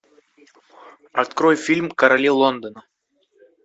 открой фильм короли лондона